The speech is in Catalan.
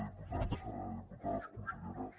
diputats diputades conselleres